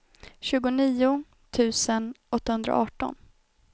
tjugonio tusen åttahundraarton